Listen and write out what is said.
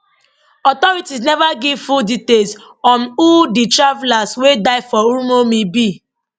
authorities neva give full details on who di travellers wey die for uromi be